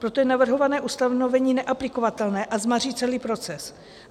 Proto je navrhované ustanovení neaplikovatelné a zmaří celý proces.